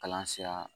Kalan sira